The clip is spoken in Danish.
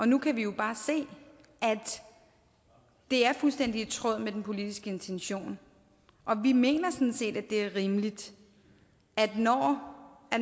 nu kan vi jo bare se at det er fuldstændig i tråd med den politiske intention og vi mener sådan set at det er rimeligt at når